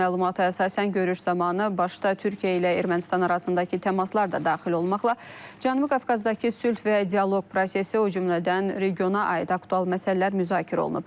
Məlumata əsasən görüş zamanı başda Türkiyə ilə Ermənistan arasındakı təmaslar da daxil olmaqla Cənubi Qafqazdakı sülh və dialoq prosesi, o cümlədən regiona aid aktual məsələlər müzakirə olunub.